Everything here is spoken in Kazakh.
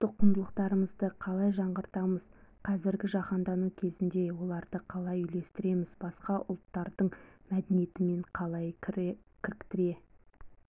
ұлттық құндылықтарымызды қалай жаңғыртамыз қазіргі жаһандану кезеңіне оларды қалай үйлестіреміз басқа ұлттардың мәдениетімен қалай кіріктіре